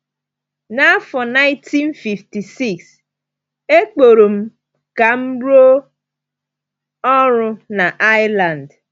N’afọ 1956, e kpọrọ m ka m rụọ ọrụ na Ireland.